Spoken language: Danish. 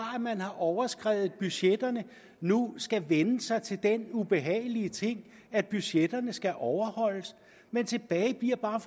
at man har overskredet budgetterne nu skal vænne sig til den ubehagelige ting at budgetterne skal overholdes men tilbage bliver bare